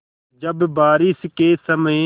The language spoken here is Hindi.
जब बारिश के समय